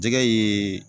Jɛgɛ ye